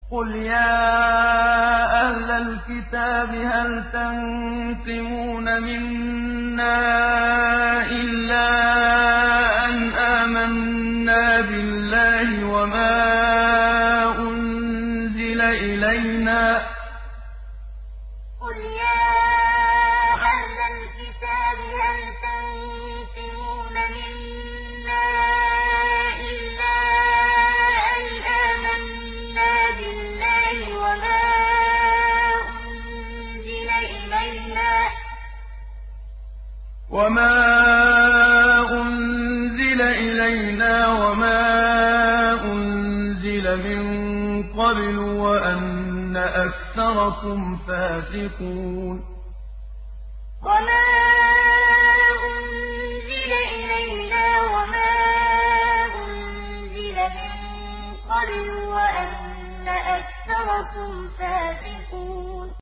قُلْ يَا أَهْلَ الْكِتَابِ هَلْ تَنقِمُونَ مِنَّا إِلَّا أَنْ آمَنَّا بِاللَّهِ وَمَا أُنزِلَ إِلَيْنَا وَمَا أُنزِلَ مِن قَبْلُ وَأَنَّ أَكْثَرَكُمْ فَاسِقُونَ قُلْ يَا أَهْلَ الْكِتَابِ هَلْ تَنقِمُونَ مِنَّا إِلَّا أَنْ آمَنَّا بِاللَّهِ وَمَا أُنزِلَ إِلَيْنَا وَمَا أُنزِلَ مِن قَبْلُ وَأَنَّ أَكْثَرَكُمْ فَاسِقُونَ